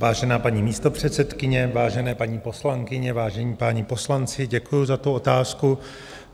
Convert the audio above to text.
Vážená paní místopředsedkyně, vážené paní poslankyně, vážení páni poslanci, děkuji za tu otázku.